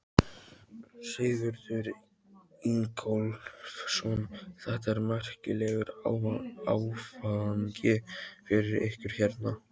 Sigurður Ingólfsson: Þetta er merkilegur áfangi fyrir ykkur hérna?